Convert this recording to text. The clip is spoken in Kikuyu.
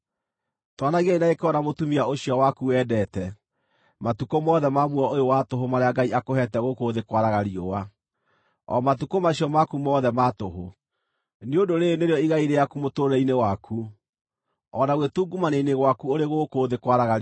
Tũũranagiai na gĩkeno na mũtumia ũcio waku wendeete, matukũ mothe ma muoyo ũyũ wa tũhũ marĩa Ngai akũheete gũkũ thĩ kwaraga riũa, o matukũ macio maku mothe ma tũhũ. Nĩ ũndũ rĩĩrĩ nĩrĩo igai rĩaku mũtũũrĩre-inĩ waku, o na gwĩtungumania-inĩ gwaku ũrĩ gũkũ thĩ kwaraga riũa.